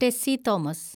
Tessy Thomas